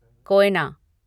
Koyna